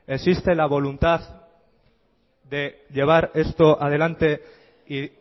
existe la voluntad de llevar esto adelante y